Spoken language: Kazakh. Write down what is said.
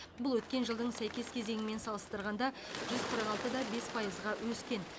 бұл өткен жылдың сәйкес кезеңімен салыстырғанда жүз қырық алты да бес пайызға өскен